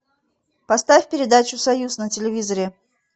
поставь передачу союз на телевизоре